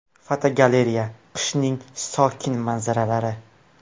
Fotogalereya: Qishning sokin manzaralari.